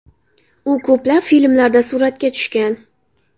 U ko‘plab filmlarda suratga tushgan.